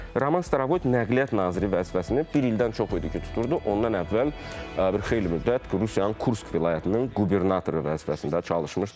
Roman Starovoyt Nəqliyyat naziri vəzifəsini bir ildən çox idi ki, tuturdu, ondan əvvəl xeyli müddət Rusiyanın Kursk vilayətinin qubernatoru vəzifəsində çalışmışdır.